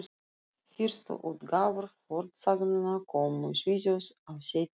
Fyrstu útgáfur fornsagnanna komu í Svíþjóð á seinna hluta